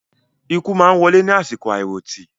Ikú máa wọlé ní àsìkò àiròtì